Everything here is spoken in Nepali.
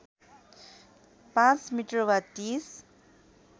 ५ मिटर वा ३०